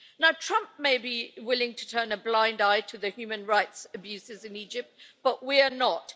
Now Trump may be willing to turn a blind eye to the human rights abuses in Egypt, but we are not.